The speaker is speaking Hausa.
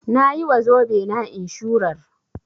Nayi wa zobe na inshurar